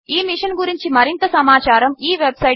ఈ మిషన్ గురించి మరింత సమాచారము httpspoken tutorialorgNMEICT Intro